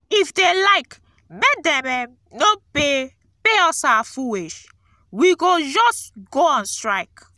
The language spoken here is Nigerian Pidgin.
if dey like make dem um no pay pay us our full wage we go just go on strike